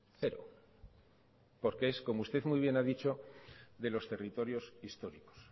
cero porque es como usted muy bien ha dicho de los territorios históricos